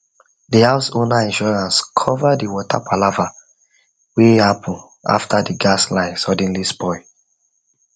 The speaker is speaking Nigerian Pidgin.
the house owner insurance cover the water palava wey happen after the gas line suddenly spoil